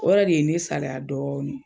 O yɛrɛ de ye ne salaya dɔɔni.